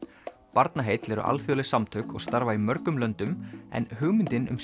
Barnaheill eru alþjóðleg samtök og starfa í mjög mörgum löndum en hugmyndin um